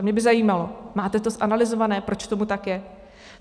A mě by zajímalo, máte to zanalyzované, proč tomu tak je?